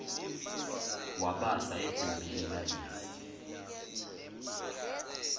wabasa egumbini lalezi